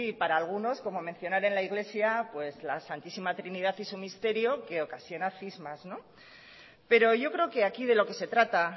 para algunos como mencionar en la iglesia pues la santísima trinidad y su misterio que ocasiona cismas pero yo creo que aquí de lo que se trata